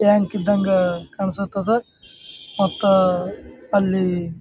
tank ಇದ್ದಂಗೆ ಕಾಣ್ಸ್ತತದ ಮತ್ತು ಅಲ್ಲಿ--